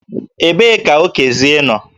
Ebee ka Okezie nọ?